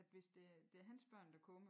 At hvis det det er hans børn der kommer